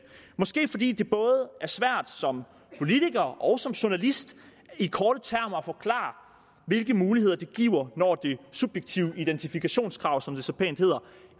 måske fordi det både er svært som politiker og som journalist i korte termer at forklare hvilke muligheder det giver når det subjektive identifikationskrav som det så pænt hedder